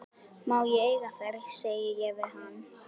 Má ég eiga þær, segi ég við hann.